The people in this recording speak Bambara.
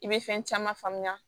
I bɛ fɛn caman faamuya